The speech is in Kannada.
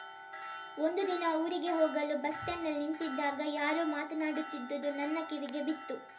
ಒಂದು ದಿನ ಊರಿಗೆ ಹೋಗಲು ಬಸ್‌ಸ್ಟ್ಯಾಂಡಿನಲ್ಲಿ ನಿಂತಿದ್ದಾಗ ಯಾರೋ ಮಾತನಾಡುತ್ತಿದ್ದದ್ದು ನನ್ನ ಕಿವಿಗೆ ಬಿತ್ತು